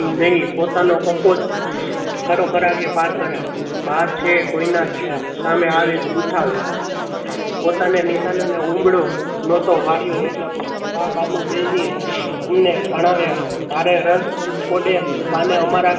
ભાર છે. કોઈ ના સામે આવે જ ઉઠાવે પોતાને નિશાન અને ઉંબળો નો તો વાળિયો એટલે બા બાપુ બેય ને અમને ભણાવીયા ભારે રસ બા ને અમારા